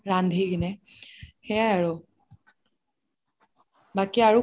ৰান্ধি কিনে সেইয়াই আৰু বাকি আৰু